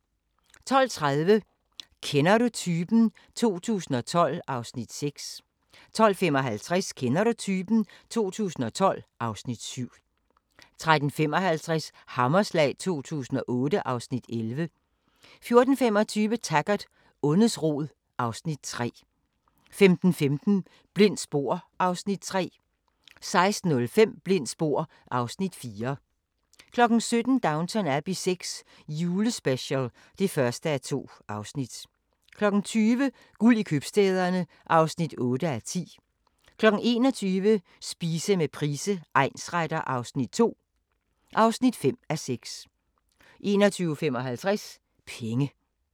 12:30: Kender du typen? 2012 (Afs. 6) 12:55: Kender du typen? 2012 (Afs. 7) 13:55: Hammerslag 2008 (Afs. 11) 14:25: Taggart: Ondets rod (Afs. 3) 15:15: Blindt spor (Afs. 3) 16:05: Blindt spor (Afs. 4) 17:00: Downton Abbey VI – julespecial (1:2) 20:00: Guld i købstæderne (8:10) 21:00: Spise med Price egnsretter II (5:6) 21:55: Penge